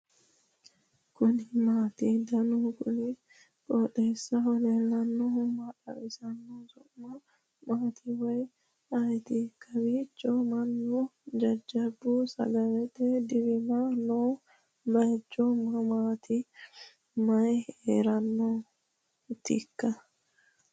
kuni maati ? danu kuni qooxeessaho leellannohu maa xawisanno su'mu maati woy ayeti ? kowiicho mannu jajjabu sagalete dirame no baychu mamati mayi herennaatikka